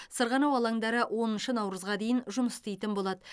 сырғанау алаңдары оныншы наурызға дейін жұмыс істейтін болады